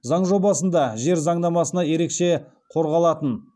заң жобасында жер заңнамасына ерекше қорғалатын